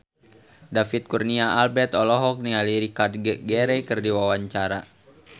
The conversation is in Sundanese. David Kurnia Albert olohok ningali Richard Gere keur diwawancara